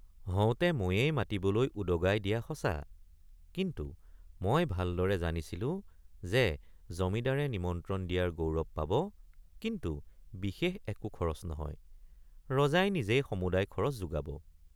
হওঁতে ময়েই মাতিবলৈ উদগাই দিয়৷ সঁচা কিন্তু মই ভালদৰে জানিছিলোঁ যে জমিদাৰে নিমন্ত্ৰণ দিয়াৰ গৌৰৱ পাব কিন্তু বিশেষ একো খৰচ নহয় ৰজাই নিজেই সমুদায় খৰচ যোগাব।